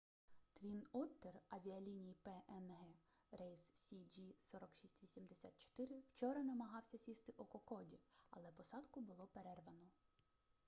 твін оттер авіаліній пнг рейс cg4684 вчора намагався сісти у кокоді але посадку було перервано